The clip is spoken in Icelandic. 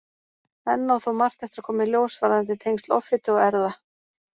Enn á þó margt eftir að koma í ljós varðandi tengsl offitu og erfða.